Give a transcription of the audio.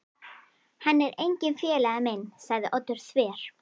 Hann er enginn félagi minn sagði Oddur þver